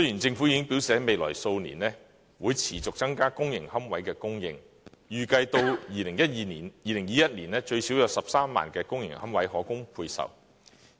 政府已經表示在未來數年會持續增加公營龕位的供應，預計至2021年最少有13萬公營龕位可供配售。